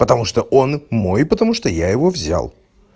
потому что он мой потому что я его взял